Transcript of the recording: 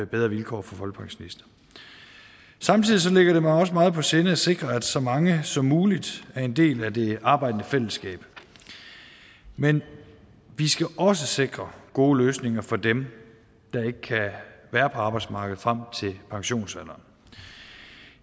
bedre vilkår for folkepensionister samtidig ligger det mig også meget på sinde at sikre at så mange som muligt er en del af det arbejdende fællesskab men vi skal også sikre gode løsninger for dem der ikke kan være på arbejdsmarkedet frem til pensionsalderen